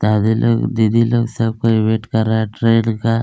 दादी लोग दीदी लोग सब कोई वेट कर रहा है ट्रेन का --